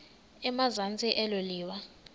emazantsi elo liwa